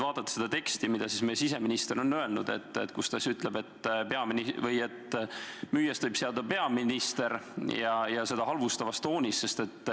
Vaatame seda teksti, kus meie siseminister on öelnud, et müüjast võib saada peaminister, ja seda halvustavas toonis.